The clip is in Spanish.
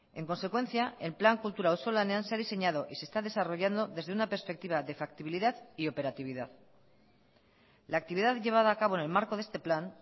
en consecuencia el plan kultura auzolanean se ha diseñado y se está desarrollando desde una perspectiva de factibilidad y operatividad la actividad llevada a cabo en el marco de este plan